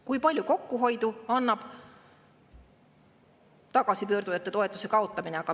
Kui palju kokkuhoidu annab tagasipöörduja toetuse kaotamine?